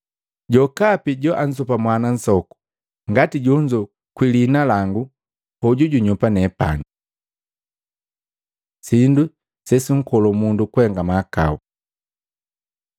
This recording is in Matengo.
Jokapi joanzopa mwana nsoku ngati jonzo kwii liina langu, hoju junyoopa nepani. Sindu sesunkolo mundu kuhenga mahakau Maluko 9:42-48; Luka 17:1-2